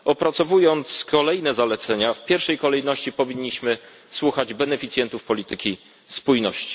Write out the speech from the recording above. Opracowując kolejne zalecenia, w pierwszej kolejności powinniśmy słuchać beneficjentów polityki spójności.